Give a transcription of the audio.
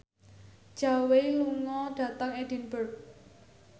Zhao Wei lunga dhateng Edinburgh